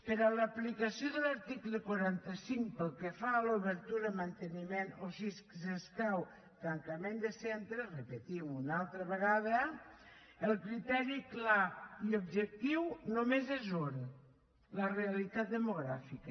per a l’aplicació de l’article quaranta cinc pel que fa a l’obertura manteniment o si s’escau tancament de centres repetim ho una altra vegada el criteri clar i objectiu només és un la realitat demogràfica